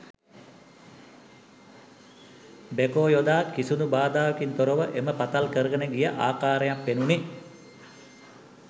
Backhoe යොදා කිසිදු බාධාවකින් තොරව එම පතල් කරගෙන ගිය ආකාරයක් පෙනුණි.